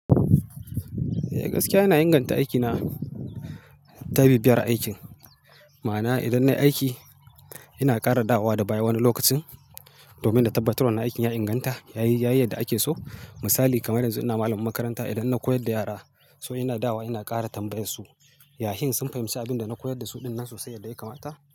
Eh gaskiya ina inganta aikina ta bibiyar aikin. Ma'ana idan nayi aiki ina ƙara dawowa da baya wani lokacin domin na tabbatar wannan aikin ya inganta yayi yadda ake so. Misali kamar yanzu ina malamin makaranta idan na koyar da yara so ina dawowa ina ƙara tambayar su ya shin sun fahimci abin da na koyar da su ɗinnan sosai yadda ya kamata.